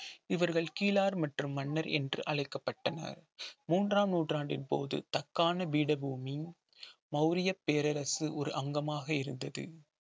இவர்கள் கீலார் மற்றும் மன்னர் என்று அழைக்கப்பட்டனர் மூன்றாம் நூற்றாண்டின் போது தக்கான பீடபூமி மௌரிய பேரரசு ஒரு அங்கமாக இருந்தது